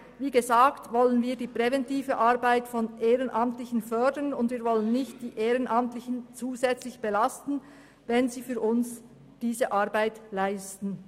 Wir wollen die präventive Arbeit von Ehrenamtlichen fördern und diese nicht zusätzlich belasten, wenn sie diese Arbeit für uns leisten.